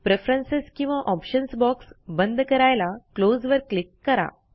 preference किंवा options box बंद करायला क्लोज वर क्लिक करा